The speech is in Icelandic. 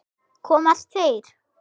Komast þeir???